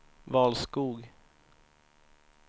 Valskog